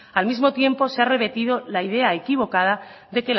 al mismo tiempo se ha repetido la idea equivocada